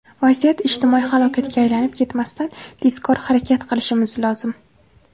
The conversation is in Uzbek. Vaziyat ijtimoiy halokatga aylanib ketmasdan, tezkor harakat qilishimiz lozim.